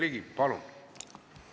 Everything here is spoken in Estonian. Jürgen Ligi, palun!